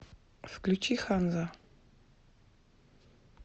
включи ханза